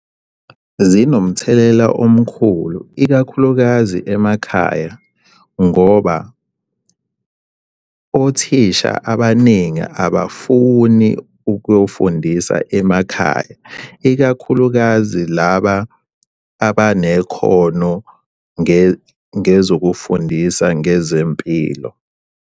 Zinomthelela omkhulu ikakhulukazi emakhaya ngoba othisha abaningi abafuni ukuyofundisa emakhaya, ikakhulukazi laba abanekhono ngezokufundisa ngezempilo.